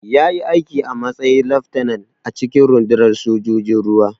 Ya yi aiki a matsayin laftanar a cikin rundunar sojojin ruwa.